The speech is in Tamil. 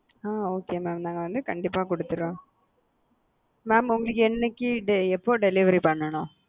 அ okay mam நாங்க வந்து கண்டிப்பா குடுத்துறோம் mam உங்களுக்கு என்னைக்கு எப்போ delivery பண்ணனும்?